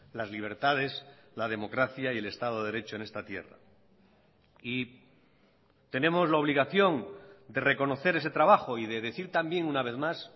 las libertades la democracia y el estado de derecho en esta tierra y tenemos la obligación de reconocer ese trabajo y de decir también una vez más